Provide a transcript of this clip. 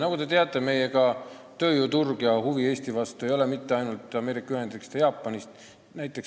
Nagu te teate, meie tööjõuturg ja üldse Eesti ei paku huvi mitte ainult Ameerika Ühendriikides või Jaapanis.